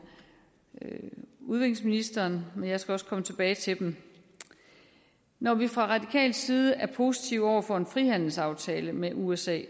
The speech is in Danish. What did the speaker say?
udviklingsministeren men jeg skal også komme tilbage til dem når vi fra radikal side er positive over for en frihandelsaftale med usa